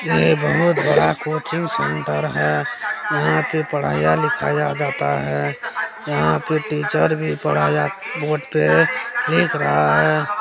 यह बहुत बड़ा कोचिग सुदर है यहां पे पढ़या-लिखाया लिखा जाता हैं यहां पे टीचर भी पढ़या बोर्ड पे लिख रहा है।